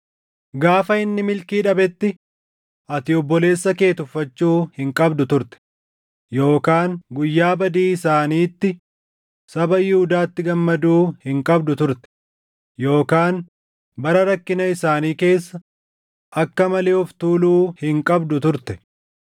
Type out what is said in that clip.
Gaafa inni milkii dhabetti ati obboleessa kee tuffachuu hin qabdu turte; yookaan guyyaa badii isaaniitti saba Yihuudaatti gammaduu hin qabdu turte; yookaan bara rakkina isaanii keessa akka malee of tuuluu hin qabdu turte.